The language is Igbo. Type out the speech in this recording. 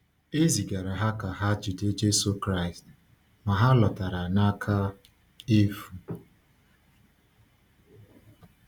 E zigara ha ka ha jide Jésù Kraịst, ma ha lọtara n’aka efu.